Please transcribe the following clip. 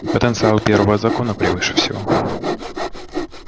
потенциал первого закона превыше всего